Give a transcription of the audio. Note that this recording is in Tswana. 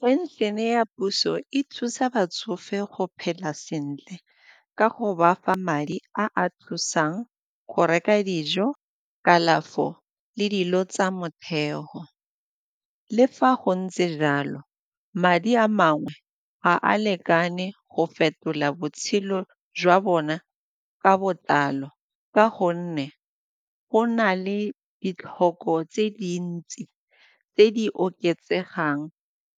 Phenšene ya puso e thusa batsofe go phela sentle ka go bafa madi a a thusang go reka dijo kalafo le dilo tsa motheo. Le fa go ntse jalo, madi a mangwe ga a lekane go fetola botshelo jwa bona ka botlalo ka gonne go na le e ditlhoko tse dintsi tse di oketsegang